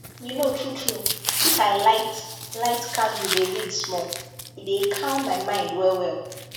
you know truetrue if i light light candle dey read small e dey calm my mind well well